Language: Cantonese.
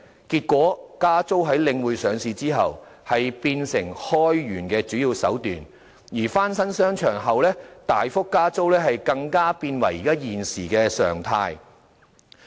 結果是在領匯上市後，加租變成開源的主要手段，而翻新商場後大幅加租更成了現時的常態。